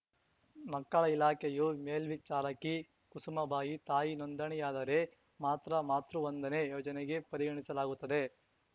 ಮಕ್ಕಳ ಇಲಾಖೆಯು ಮೇಲ್ವಿಚಾರಕಿ ಕುಸುಮಾಬಾಯಿ ತಾಯಿ ನೋಂದಣಿಯಾದರೆ ಮಾತ್ರ ಮಾತೃ ವಂದನೆ ಯೋಜನೆಗೆ ಪರಿಗಣಿಸಲಾಗುತ್ತದೆ